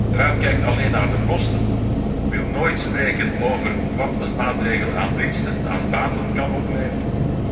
De Raad kijkt alleen naar de kosten, wil nooit spreken over wat een maatregel aan baten kan opleveren.